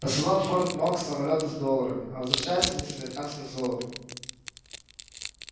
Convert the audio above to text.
посылал в форт-нокс самолёты с долларами а возвращались они с американским золотом